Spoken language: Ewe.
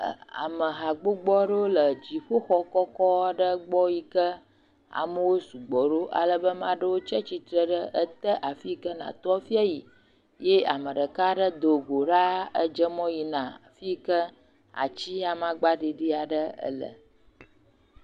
Ame ha gbogbo aɖewo le dziƒoxɔ kɔkɔ aɖe gbɔ yike amewo sɔgbɔ ɖo. Alebe ame aɖewo tsatsitre ɖe ete afi yike nàto hafi ayi eye ame ɖeka aɖe do go ɖaa, edze mɔ yina fi yike ati amagba ɖiɖi aɖe le.